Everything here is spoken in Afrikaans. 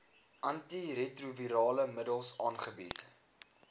antiretrovirale middels aangebied